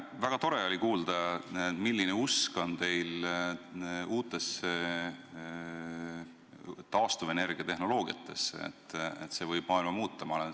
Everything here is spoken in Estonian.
Väga tore oli kuulda, milline usk on teil uutesse taastuvenergia tehnoloogiatesse, usk, et see võib maailma muuta.